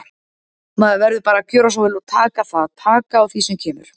Maður verður bara að gjöra svo vel og gera það, taka á því sem kemur.